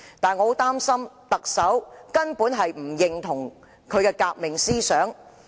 但是，我很擔心特首根本不認同孫中山的革命思想。